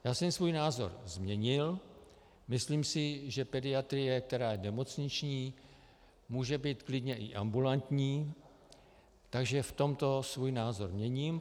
Já jsem svůj názor změnil, myslím si, že pediatrie, která je nemocniční, může být klidně i ambulantní, takže v tomto svůj názor měním.